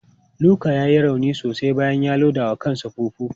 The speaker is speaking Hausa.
Luka ya yi rauni sosai bayan ya loda wa kansa fufu.